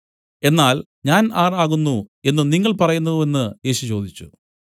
എന്നാൽ ഞാൻ ആർ ആകുന്നു എന്നു നിങ്ങൾ പറയുന്നു വെന്ന് യേശു ചോദിച്ചു